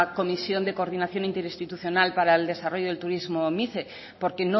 comisión de coordinación interinstitucional para el desarrollo del turismo mice porque